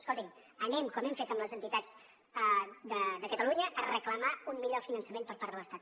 escolti’m anem com hem fet amb les entitats de catalunya a reclamar un millor finançament per part de l’estat